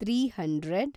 three hundred